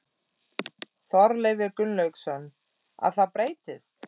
Þorleifur Gunnlaugsson: Að það breytist?